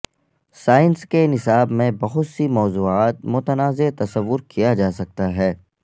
science کے نصاب میں بہت سی موضوعات متنازع تصور کیا جا سکتا ہے